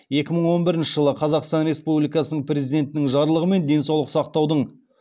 екі мың он бірініші жылы қазақсан республикасының президентінің жарлығымен денсаулық сақтаудың